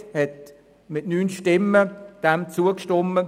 Die Kommissionsmehrheit hat dem mit 9 Stimmen zugestimmt.